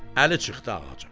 Əli çıxdı ağaca.